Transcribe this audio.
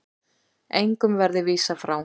Engum verði vísað frá.